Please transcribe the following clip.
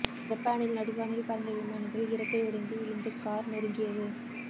ஜப்பானில் நடுவானில் பறந்த விமானத்தில் இறக்கை உடைந்து விழுந்து கார் நொறுங்கியது